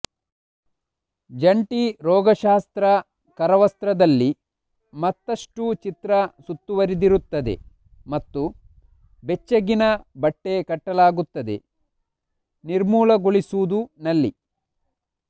ಜಂಟಿ ರೋಗಶಾಸ್ತ್ರ ಕರವಸ್ತ್ರದಲ್ಲಿ ಮತ್ತಷ್ಟು ಚಿತ್ರ ಸುತ್ತುವರಿದಿರುತ್ತದೆ ಮತ್ತು ಬೆಚ್ಚಗಿನ ಬಟ್ಟೆ ಕಟ್ಟಲಾಗುತ್ತದೆ ನಿರ್ಮೂಲಗೊಳಿಸುವುದು ನಲ್ಲಿ